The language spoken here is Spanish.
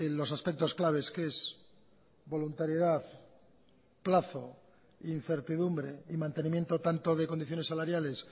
los aspectos claves que es voluntariedad plazo incertidumbre y mantenimiento tanto de condiciones salariales